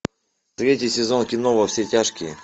третий сезон кино во все тяжкие